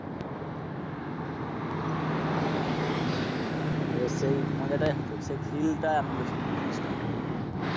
আগে সেই মজাটাই হতো সেই ফিল টা আনন্দ ছিল ফিলিংস টাই